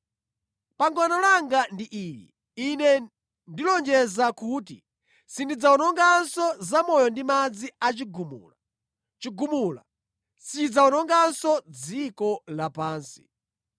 Pangano langa ndi ili: Ine ndilonjeza kuti sindidzawononganso zamoyo ndi madzi a chigumula. Chigumula sichidzawononganso dziko lapansi.”